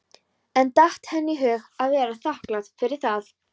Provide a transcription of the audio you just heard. En datt henni í hug að vera þakklát fyrir það?